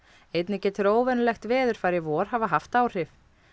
einnig getur óvenjulegt veðurfar í vor hafa haft áhrif